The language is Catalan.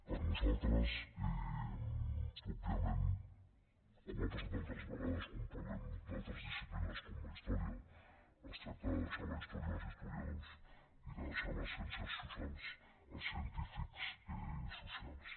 per nosaltres òbviament com ha passat altres vegades quan parlem d’altres disciplines com la història es tracta de deixar la història als historiadors i de deixar les ciències socials als científics socials